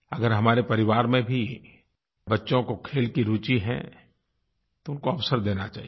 अगर हमारे परिवार में भी बच्चों को खेल की रुचि है तो उनको अवसर देना चाहिए